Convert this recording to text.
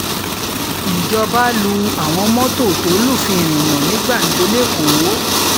ìjọba lu àwọn mọ́tò tó lufin ìrìnnà ní gbàǹjo lẹ́kọ̀ọ́